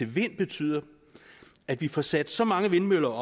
vind betyder at vi får sat så mange vindmøller